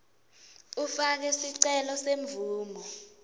ufake sicelo semvumo